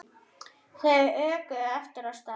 Þau örkuðu aftur af stað.